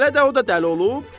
Elə də o da dəli olub?